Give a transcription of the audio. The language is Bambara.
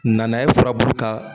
Nana ye furabulu ka